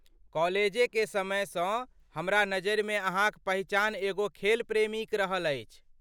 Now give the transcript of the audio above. कॉलेजेके समैसँ हमरा नजरिमे अहाँक पहिचान एगो खेल प्रेमीक रहल अछि।